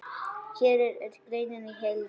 Hér er greinin í heild.